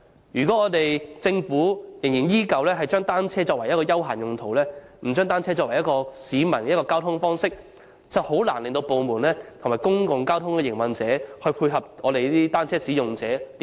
如果政府依然把單車視作休閒工具，而不是市民的一種交通方式，實在難以令各部門及公共交通營運者在乘坐交通工具上配合單車使用者。